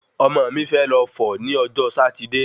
Ọmọ mi fe lọ fọ ni ọjọ́ Sátidé